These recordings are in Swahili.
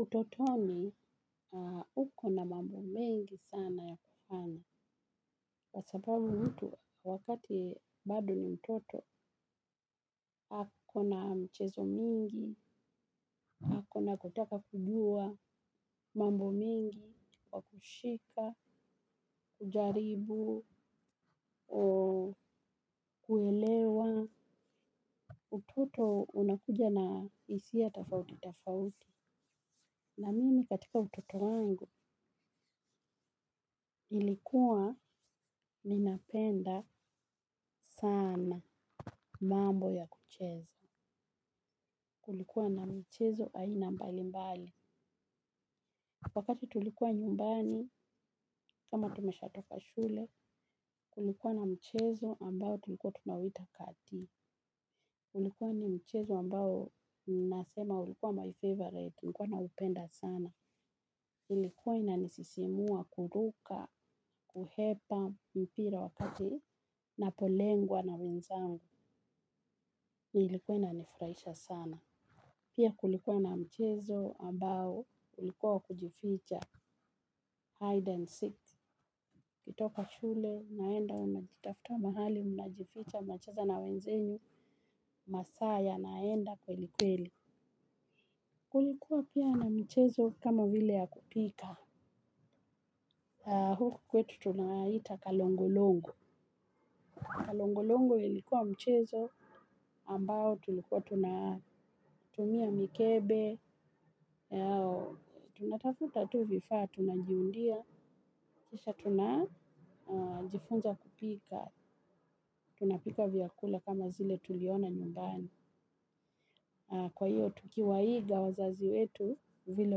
Utotoni, uko na mambo mengi sana ya kufanya. Kwa sababu mtu wakati bado ni mtoto ako na mchezo mingi, ako na kutaka kujua mambo mengi kwa kushika kujaribu kuelewa kujaribu kuelewa. Utoto unakuja na hisia tofauti tofauti. Na mimi katika utoto wangu, nlikuwa ninapenda sana. Mambo ya kucheza kulikuwa na michezo aina mbali mbali. Wakati tulikuwa nyumbani kama tumesha toka shule kulikuwa na mchezo ambao tulikuwa tunaita kati ulikuwa ni mchezo ambayo nasema ulikuwa my favourite nilikuwa naupenda sana ilikuwa inanisisimua kuruka, kuhepa mpira wakati napolengwa na wenzangu. Nilikuwa inanifurahisha sana. Pia kulikuwa na mchezo ambao ulikuwa wa kujificha hide and seek. Nikitoka shule, naenda unajitafuta mahali mnjificha mnacheza na wenzenu masaa yanaenda kweli kweli. Kulikuwa pia na michezo ka vile ya kupika. Huku kwetu tunaita kalongo-longo. Kalongo-longo ilikuwa mchezo ambao tulikuwa tunatumia mikebe. Tunatafuta tu vifaa, tunajiundia. Kisha tunajifunza kupika. Tunapika vyakula kama zile tuliona nyumbani. Kwa hiyo, tukiwaiga wazazi wetu vile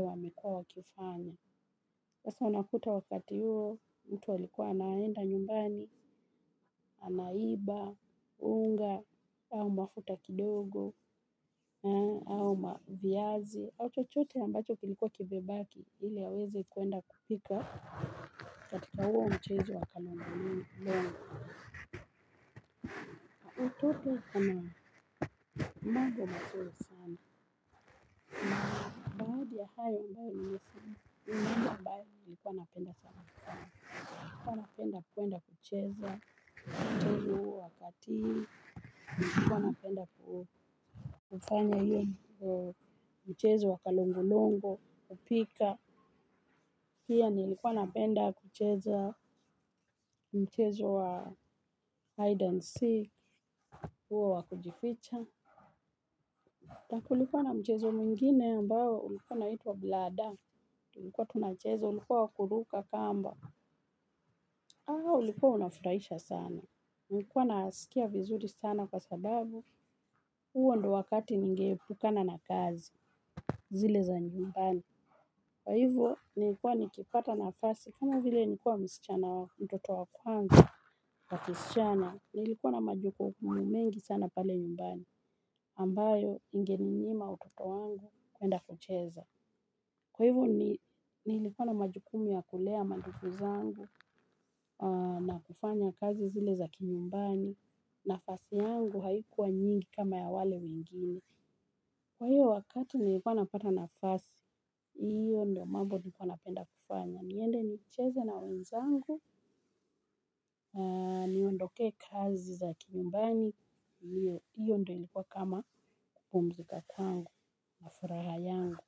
wamekua wakifanya, hasa unakuta wakati huo, mtu alikua anaenda nyumbani. Anaiba, unga au mafuta kidogo, au ma viazi au chochote ambacho kilikuwa kimebaki, ili aweze kwenda kupika. Katika huo mchezo wa kalongo longo, utoto kama mambo mazuri sana. Baadhi ya hayo ambayo nimesema, ni mambo ambayo nilikuwa napenda sana. Nilikuwa napenda kwenda kucheza. Mchezu huo wa katii. Nilikuwa napenda kufanya hiyo mchezo wa kalongo longo kupika. Pia nilikuwa napenda kucheza mchezo wa hide and seek huo wa kujificha. Na kulikuwa na mchezo mwingine ambao ulikuwa unaitwa bladder, tulikuwa tunacheza, ulikuwa wa kuruka kamba, ulikuwa unafurahisha sana, nilikuwa nasikia vizuri sana kwa sababu, huo ndio wakati ninge epukana na kazi, zile za nyumbani. Kwa hivyo nilikuwa nikipata nafasi kama vile nikuwa msichana wa mtoto wa kwanza wa kisichana, nilikuwa na majukumu mengi sana pale nyumbani, ambayo ingeninyima watoto wangu kwenda kucheza. Kwa hivyo nilikuwa na majukumu ya kulea mandugu zangu na kufanya kazi zile za kinyumbani, nafasi yangu haikuwa nyingi kama ya wale wengine. Kwa hivyo wakati nilikuwa napata nafasi hiyo ndio mambo nilikuwa napenda kufanya niende nicheze na wenzangu niondoke kazi za kinyumbani hiyo ndio ilikuwa kama kupumzika kwangu na furaha yangu.